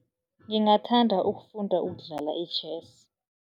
Ngingathanda ukufunda ukudlala i-chess.